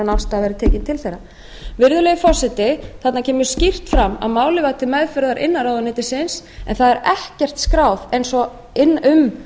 en afstaða væri tekin til þeirra virðulegi forseti þarna kemur skýrt fram að málið var til meðferðar innan ráðuneytisins en það er ekkert skráð um